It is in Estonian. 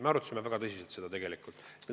Me arutasime seda tegelikult väga tõsiselt.